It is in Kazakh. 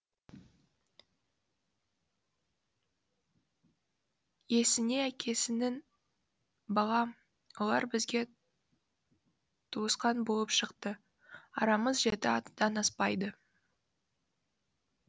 есінеәкесінің балам олар бізге туысқан болып шықты арамыз жеті атадан аспайды